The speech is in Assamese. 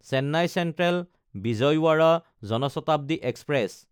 চেন্নাই চেন্ট্ৰেল–বিজয়ৱাড়া জন শতাব্দী এক্সপ্ৰেছ